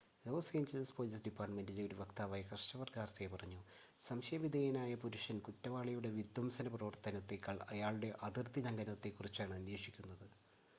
loss Angeles police ഡിപ്പാർട്ടുമെന്റിലെ ഒരു വക്താവായ ക്രിസ്റ്റഫർ ഗാർസിയ പറഞ്ഞു, സംശയ വിധേയനായ പുരുഷ കുറ്റവാളിയുടെ വിധ്വംസന പ്രവർത്തനത്തേക്കാൾ അയാളുടെ അതിർത്തിലംഘനത്തെ കുറിച്ചാണ് അന്വേഷിക്കുന്നത്